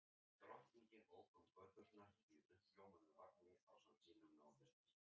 Drottning ók um göturnar í uppljómuðum vagni ásamt sínum nánustu.